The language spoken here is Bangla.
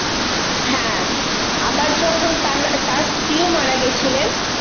হ্যাঁ আবার তার স্ত্রীও মারা গিয়েছিলেন